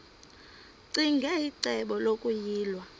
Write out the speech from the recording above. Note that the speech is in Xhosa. ccinge icebo lokuyilwa